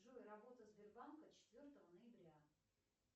джой работа сбербанка четвертого ноября